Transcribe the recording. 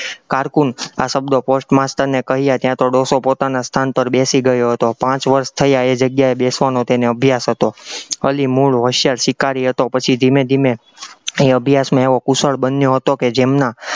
carcoon આ શબ્દો post master ને કહ્યા ત્યાં તો ડોસો પોતાના સ્થાન પર બેસી ગયો હતો, પાંચ વર્ષ થયા એ જગ્યા એ બેસવાનો તેને અભ્યાસ હતો, અલી મૂળ હોશિયાર શિકારી હતો, પછી ધીમે ધીમે અહીં અભ્યાસમાં એવો કુશળ બન્યો હતો કે જેમના